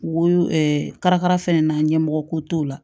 Wo kalakala fɛnɛ na ɲɛmɔgɔ ko t'o la